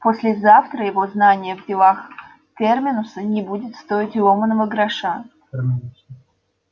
послезавтра его знание в делах терминуса не будет стоить и ломаного гроша